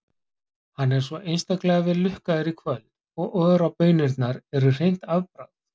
Hann er svo einstaklega vel lukkaður í kvöld og Ora-baunirnar eru hreint afbragð.